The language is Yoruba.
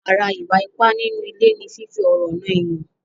Ara ìwà ipá nínú ilé ni fífi ọ̀rọ̀ nà èèyàn.